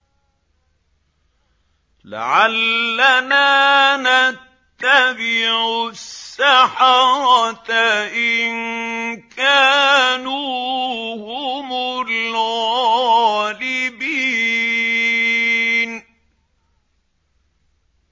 لَعَلَّنَا نَتَّبِعُ السَّحَرَةَ إِن كَانُوا هُمُ الْغَالِبِينَ